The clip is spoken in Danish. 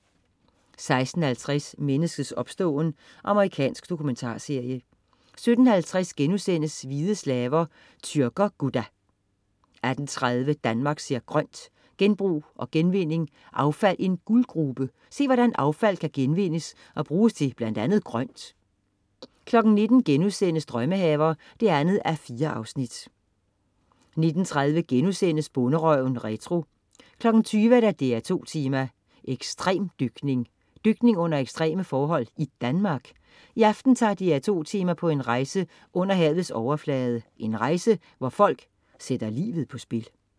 16.50 Menneskets opståen. Amerikansk dokumentarserie 17.50 Hvide slaver. Tyrker-Gudda* 18.30 Danmark ser grønt: Genbrug og genvinding. Affald en guldgrube. Se, hvordan affald kan genvindes og bruges til blandt andet grønt 19.00 Drømmehaver 2:4* 19.30 Bonderøven retro* 20.00 DR2 Tema: Ekstremdykning. Dykning under ekstreme forhold i Danmark? I aften tager "DR2 Tema" på en rejse under havets overflade. En rejse, hvor folk sætter livet på spil